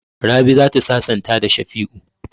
Rabi za ta sasanta da Shafi'u.